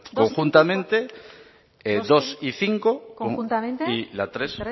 conjuntamente dos y cinco conjuntamente y la tres